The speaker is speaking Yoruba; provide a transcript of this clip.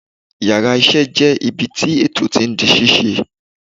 Yàrá isé jé ibi tí ètò tí n di ṣíṣe